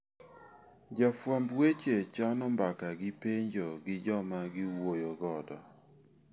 Jofwamb weche chano mbaka gi penjo gi joma giwuoyo godo.